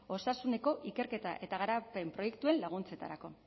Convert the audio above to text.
osasuneko ikerketa eta garapen proiektuen laguntzetarako